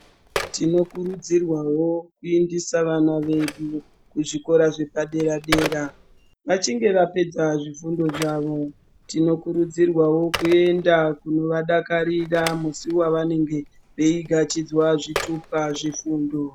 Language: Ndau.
Tinokurudzirwao kuendesa vana vedu kuzvikora zvepadera dera vachinge vapedza zvifundo zvavo tinokurudzirwao kuenda kunovadakarira musi wavanenge vachigachidzwa zvitupa zvefundo.